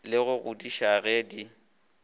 le go kgodiša ge di